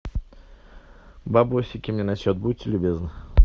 бабосики мне на счет будьте любезны